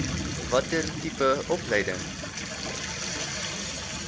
watter tipe opleiding